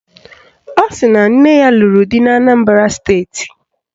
Ọ sịrị na nne ya lụrụ di n'Anambara steeti